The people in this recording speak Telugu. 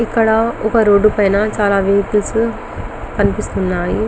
ఇక్కడ ఒక రోడ్ పైన చాల వెహికల్స్ కనిపిస్తూన్నాయి.